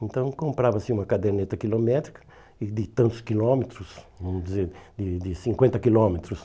Então, comprava-se uma caderneta quilométrica de tantos quilômetros, vamos dizer, de de cinquenta quilômetros.